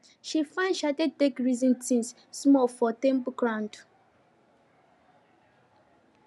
she find shade take reason tins small for temple compound